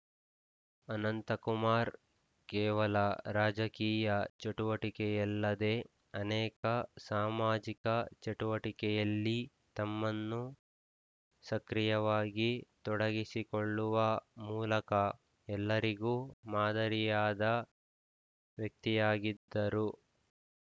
ಅನಂತಕುಮಾರ್‌ ಕೇವಲ ರಾಜಕೀಯ ಚಟುವಟಿಕೆಯಲ್ಲದೆ ಅನೇಕ ಸಾಮಾಜಿಕ ಚಟುವಟಿಕೆಯಲ್ಲಿ ತಮ್ಮನ್ನು ಸಕ್ರಿಯವಾಗಿ ತೊಡಗಿಸಿಕೊಳ್ಳುವ ಮೂಲಕ ಎಲ್ಲರಿಗೂ ಮಾದರಿಯಾದ ವ್ಯಕ್ತಿಯಾಗಿದ್ದರು